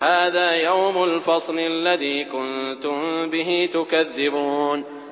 هَٰذَا يَوْمُ الْفَصْلِ الَّذِي كُنتُم بِهِ تُكَذِّبُونَ